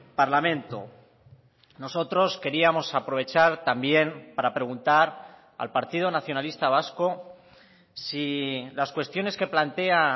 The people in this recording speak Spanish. parlamento nosotros queríamos aprovechar también para preguntar al partido nacionalista vasco si las cuestiones que plantea